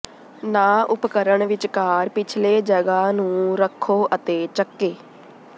ਨਾ ਉਪਕਰਣ ਵਿਚਕਾਰ ਪਿਛਲੇ ਜਗ੍ਹਾ ਨੂੰ ਰੱਖੋ ਅਤੇ ਚੱਕੇ